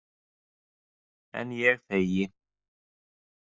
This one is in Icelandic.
En ég þegi.